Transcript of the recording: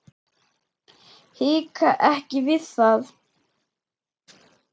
Hika ekki við það.